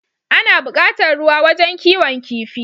Ana bukatar ruwa wajan kiwon kifi